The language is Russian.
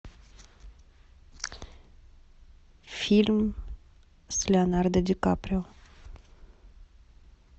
фильм с леонардо ди каприо